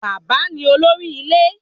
Bàbá ni olórí ilé